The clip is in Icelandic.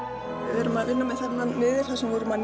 við erum að vinna með þennan miðil þar sem við erum að